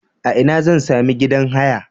A ina zan sami gidan haya?